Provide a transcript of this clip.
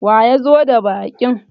waye ya zo da baƙin?